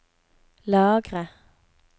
lagre